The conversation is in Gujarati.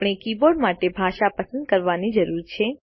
આપણે કીબોર્ડ માટે ભાષા પસંદ કરવાની જરૂર છે